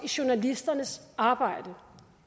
i journalisternes arbejde